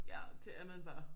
Ja det er man bare